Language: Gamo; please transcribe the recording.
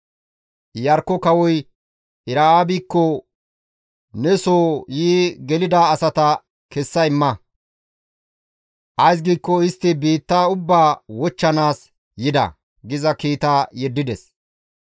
Iyarkko kawoy Era7aabikko, «Ne soo yi gelida asata kessa imma. Ays giikko istti biitta ubbaa wochchanaas yida» giza kiita yeddides.